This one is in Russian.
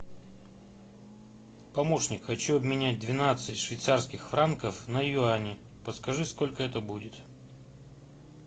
помощник хочу обменять двенадцать швейцарских франков на юани подскажи сколько это будет